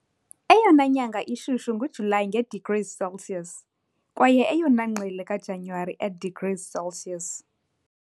Eyona nyanga ishushu nguJulayi, nge-degrees Celsius, kwaye eyona ngqele kaJanuwari, e degrees Celsius.